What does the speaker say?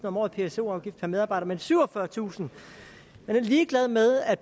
om året i pso afgift per medarbejder men syvogfyrretusind man er ligeglad med at